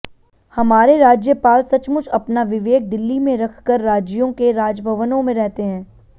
हमारे राज्यपाल सचमुच अपना विवेक दिल्ली में रखकर राज्यों के राजभवनों में रहते हैं